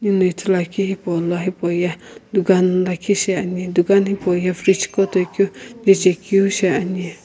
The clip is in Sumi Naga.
hile ithuluakeu hipaulo hipauye dukan lakhi shiani dukan hipauye fridge qo toikeu jechekeu shiani.